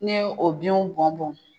Ne ye o binw bɔn bɔn.